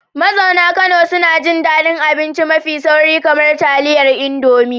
Mazauna Kano suna jin daɗin abinci mafi sauri, kamar taliyar indomie